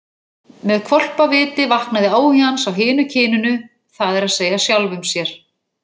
Með hvolpaviti vaknaði áhugi hans á hinu kyninu, það er að segja sjálfum sér.